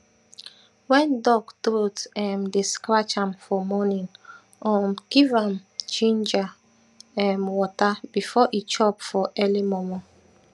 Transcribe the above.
wen duck troat um dey srcratch am for morning um give am giniger um water before e chop for eli mor mor